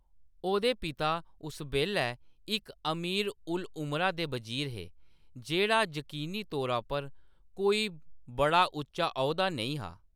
ओह्‌‌‌दे पिता उस बेल्लै इक अमीर-उल-उमरा दे बजीर हे, जेह्‌‌ड़ा यकीनी तौरा पर कोई बड़ा उच्चा औह्‌दा नेईं हा।